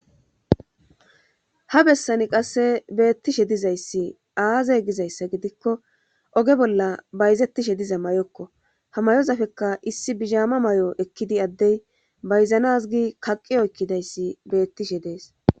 ha bessani qasse beettishe dizayssi aaze gizayssa gidikko oge bolla bayzettishe diza may7okko hamayozafekka issi bizhaama may7o ekkidi addey bayzanazgi kaqiyo ekkidayssi beettishe dees